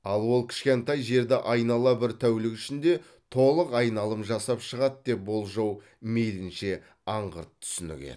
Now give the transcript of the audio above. ал ол кішкентай жерді айнала бір тәулік ішінде толық айналым жасап шығады деп болжау мейлінше аңғырт түсінік еді